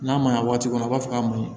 N'a ma ɲɛ waati dɔ a b'a fɔ k'a ma ɲi